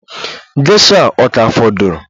Gesha a ka fọdụrụ?